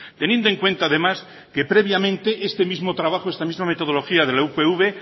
teniendo en cuenta además que previamente este mismo trabajo esta misma metodología de la upv